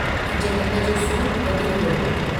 मुंहिंजे दंद जो सूरु बि वधी वियो हो।